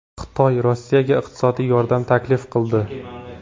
Xitoy Rossiyaga iqtisodiy yordam taklif qildi.